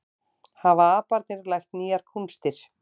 Hafa aparnir lært nýjar kúnstir